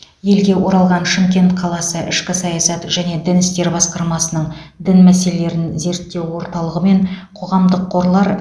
елге оралған шымкент қаласы ішкі саясат және дін істері басқармасының дін мәселелерін зерттеу орталығы мен қоғамдық қорлар